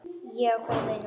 Þetta ákvað ég í nótt.